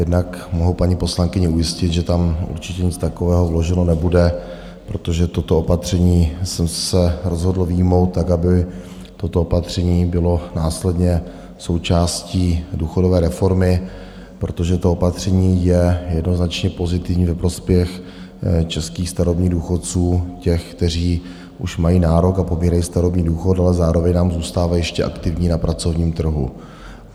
Jednak tomu paní poslankyni ujistit, že tam určitě nic takového vloženo nebude, protože toto opatření jsem se rozhodl vyjmout tak, aby toto opatření bylo následně součástí důchodové reformy, protože to opatření je jednoznačně pozitivní ve prospěch českých starobních důchodců, těch, kteří už mají nárok a pobírají starobní důchod, ale zároveň nám zůstávají ještě aktivní na pracovním trhu.